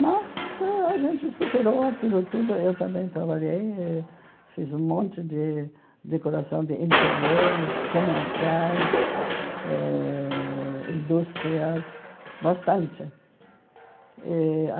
Mas a gente superou aquilo tudo, eu também trabalhei, e fiz um monte de decoração de interiores, comerciais, ãh indústrias, bastante. Eh a